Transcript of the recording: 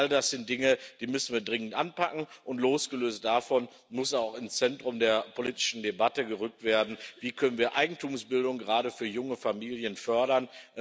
All das sind Dinge, die wir dringend anpacken müssen, und, losgelöst davon, muss auch eine Frage ins Zentrum der politischen Debatte gerückt werden Wie können wir Eigentumsbildung gerade für junge Familien fördern?